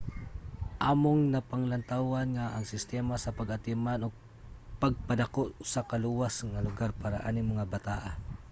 among napanglantawan nga ang sistema sa pag-atiman ug pagpadako usa ka luwas nga lugar para aning mga bataa